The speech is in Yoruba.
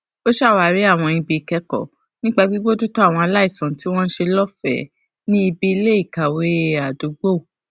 ó ṣàwárí àwọn ibi ìkékòó nípa bíbójútó àwọn aláìsàn tí wón ń ṣe lófèé ní ibi iléìkàwé àdúgbò